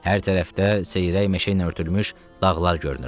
Hər tərəfdə seyrək meşə ilə örtülmüş dağlar görünürdü.